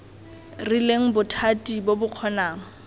rileng bothati bo bo kgonang